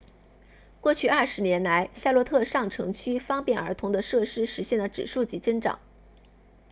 过去20年来夏洛特上城区方便儿童的设施实现了指数级增长